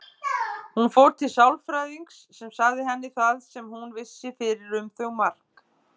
Hún fór til sálfræðings sem sagði henni það sem hún vissi fyrir um þau Mark.